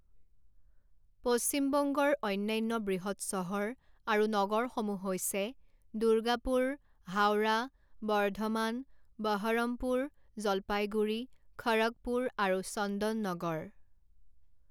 পশ্চিম বংগৰ অন্যান্য বৃহৎ চহৰ আৰু নগৰসমূহ হৈছে দুৰ্গাপুৰ হাওৰা বৰ্ধমান বহৰমপুৰ জলপাইগুৰি খড়গপুৰ আৰু চন্দননগৰ।